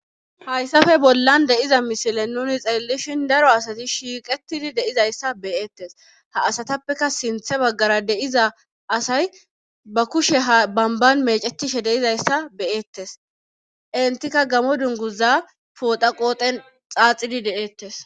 Hayssafe bollan deyiza misile nuni xeellishin daro asati shiiqetidi deizayssa beyeettes ha asatappeka sinthe baggara deiza asay ba kushe ha bamban mecetishe deizayssa beyeettes entikka gamo dunguza pooda qooten xaaxidi de7eettes.